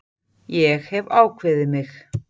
Ég hef ákveðið mig.